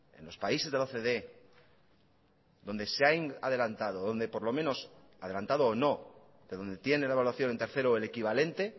en los países de la ocde donde se han adelantado o no pero donde tienen la evaluación de tercero o el equivalente